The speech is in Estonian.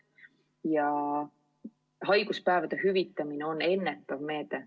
Ja haiguspäevade hüvitamine on ennetav meede.